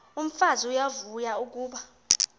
umfazi uyavuya kuba